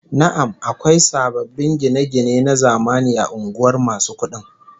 Na'am, akwai sababbin gine-gine na zamani a unguwar masu kudin